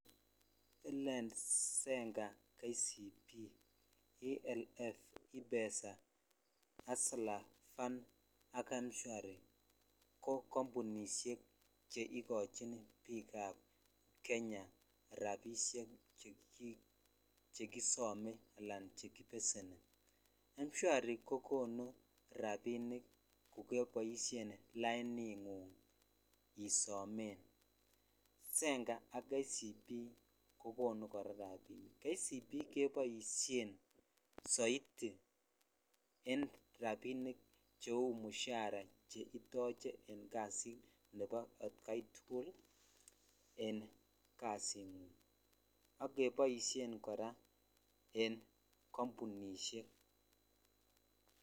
Lend, Zenka, KCB, ALF, ipesa, hustler fund ak mshwari ko kombunishek cheikochin biikab Kenya rabishek chekisome anan chekibeseni, mshwari kokonu rabinik kokeboishen laining'ung isomen, Zenka ak KCB kokonu kora rabinik, KCB keboishen soiti en rabinik cheu mushara cheitoche en kasit Nebo atkai tukul en kasing'ung ak keboishen kora en kombunishek.